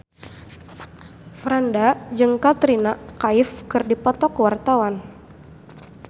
Franda jeung Katrina Kaif keur dipoto ku wartawan